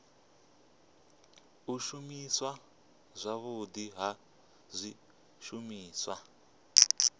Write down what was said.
u shumiswa zwavhudi ha zwishumiswa